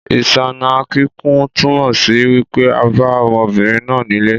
Ìsáná kíkún túnmọ̀ sí wípé a bá ọmọbinrin nà nílé